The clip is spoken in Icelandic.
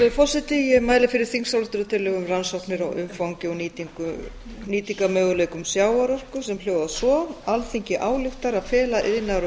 virðulegi forseti ég mæli fyrir þingsályktunartillögu um rannsóknir á umfangi og nýtingarmöguleikum sjávarorku sem hljóðar svo alþingi ályktar að fela iðnaðar og